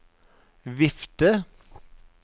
vifte